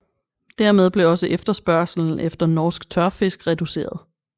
Dermed blev også efterspørgslen efter norsk tørfisk reduceret